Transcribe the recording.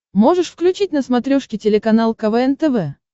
можешь включить на смотрешке телеканал квн тв